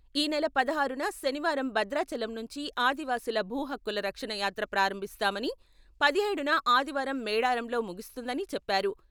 ఈ నెల పదహారున శనివారం భద్రాచలం నుంచి ఆదివాసీల భూ హక్కుల రక్షణ యాత్ర ప్రారంభిస్తామని, పదిహేడున ఆదివారం మేడారంలో ముగుస్తుందని చెప్పారు.